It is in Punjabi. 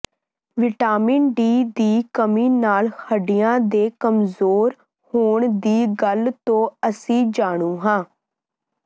ਵਿਟਾਮਿਨ ਡੀ ਦੀ ਕਮੀ ਨਾਲ ਹੱਡੀਆਂ ਦੇ ਕਮਜ਼ੋਰ ਹੋਣ ਦੀ ਗੱਲ ਤੋਂ ਅਸੀਂ ਜਾਣੂ ਹਾਂ